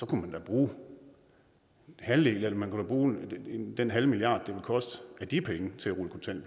kunne bruge halvdelen eller man kunne bruge den halve milliard det vil koste af de penge til